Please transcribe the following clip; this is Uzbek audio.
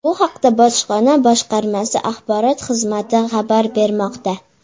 Bu haqda bojxona boshqarmasi axborot xizmati xabar bermoqda.